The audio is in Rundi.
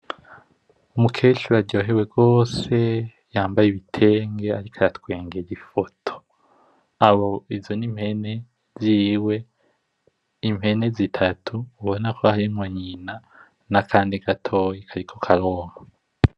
Umukecuru aryohewe gose yambaye ibitenge ariko aratwengera ifoto. Aho izo n’impene ziwe, impene zitatu ubona ko harimwo nyina, n’akandi gatoyi kariko karonka.